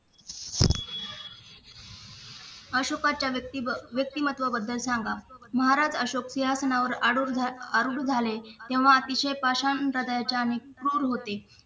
अशोकाच्या व्यक्तिमत्त्वाबद्दल सांगा महाराज अशोक सिंहासनावर आरूढ झाले आरूढ झाले तेव्हा अतिशय पाषाण होता त्याच्या आणि क्रूर होते